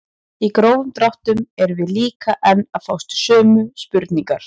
Í grófum dráttum erum við líka enn að fást við sömu spurningar.